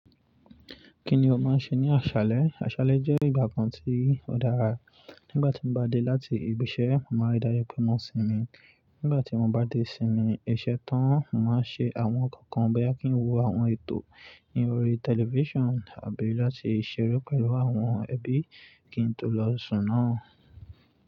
Kí ni o máa ń ṣe ní àṣálẹ́? Àṣálẹ́ jẹ́ ìgbà kan tí ó dára. Nígbà tí mo bá dé láti ibi iṣẹ́, màá rí dájú pé mo sinmi. Nígbà tí mo bá dé sinmi, iṣẹ́ tán, màá ṣe àwọn nǹkan kan bẹ́ẹ̀ kí n wo àwọn ètò inú orí television àbí láti ṣeré pẹ̀lú àwọn ẹbí kí n tó lọ sùn náà.